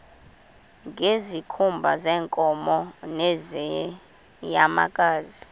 ngezikhumba zeenkomo nezeenyamakazi